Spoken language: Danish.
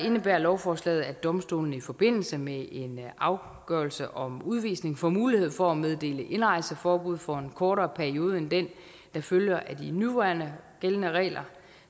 indebærer lovforslaget at domstolene i forbindelse med en afgørelse om udvisning får mulighed for at meddele indrejseforbud for en kortere periode end den der følger af de nuværende gældende regler